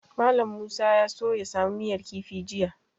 Mallam Musa ya so ya samu miyar kifi jiya.